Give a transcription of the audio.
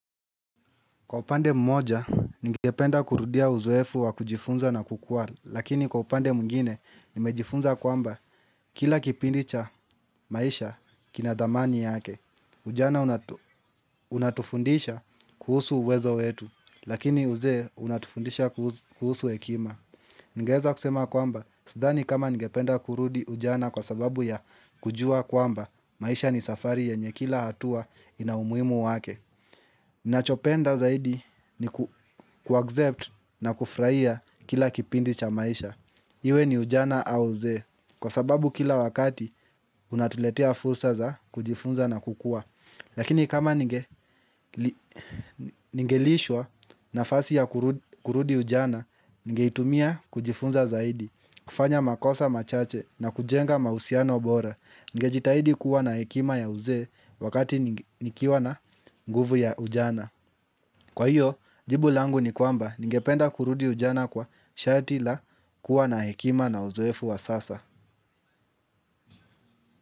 Kwa upande mmoja ningependa kurudia uzoefu wa kujifunza na kukua lakini kwa upande mwingine nimejifunza kwamba kila kipindi cha maisha kina dhamani yake. Ujana unatufundisha kuhusu uwezo wetu lakini uzee unatufundisha kuhusu hekima. Ningeweza kusema kwamba sidhani kama nigependa kurudi ujana kwa sababu ya kujua kwamba maisha ni safari yenye kila hatua ina umuhimu wake. Ninachopenda zaidi ni ku accept na kufurahia kila kipindi cha maisha iwe ni ujana au uzee kwa sababu kila wakati unatuletea fursa za kujifunza na kukua. Lakini kama ninge lishwa nafasi ya kurudi ujana ningeitumia kujifunza zaidi. Kufanya makosa machache na kujenga mahusiano bora ningejitahidi kuwa na hekima ya uzee wakati nikiwa na nguvu ya ujana. Kwa hiyo jibu langu ni kwamba ningependa kurudi ujana kwa shati la kuwa na hekima na uzoefu wa sasa.